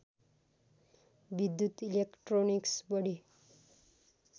विद्युत इलेक्ट्रोनिक्स बढी